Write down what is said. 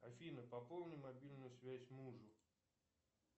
афина пополни мобильную связь мужу